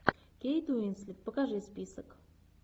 кейт уинслет покажи список